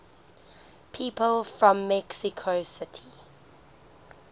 people from mexico city